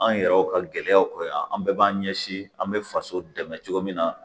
An yɛrɛw ka gɛlɛyaw kɔrɔ yan an bɛɛ b'an ɲɛsin an be faso dɛmɛ cogo min na